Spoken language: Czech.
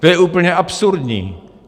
To je úplně absurdní!